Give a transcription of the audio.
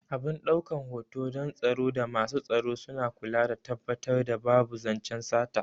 Abin ɗaukan hoto don tsaro da masu tsaro suna kula da tabbatar da babu zancen sata